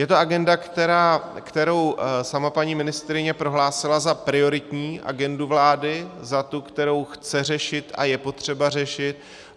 Je to agenda, kterou sama paní ministryně prohlásila za prioritní agendu vlády, za tu, kterou chce řešit a je potřeba řešit.